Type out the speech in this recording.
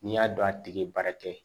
N'i y'a dɔn a tigi ye baara kɛ